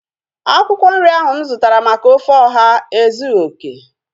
Akwụkwọ nri ọha ahu mụ zụtara maka ofe ọha ezughị okè